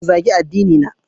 Kada ku zagi addinina!